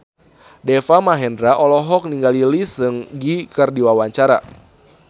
Deva Mahendra olohok ningali Lee Seung Gi keur diwawancara